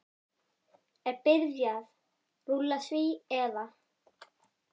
Er byrjað rúlla því eða?